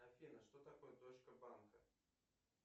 афина что такое точка банка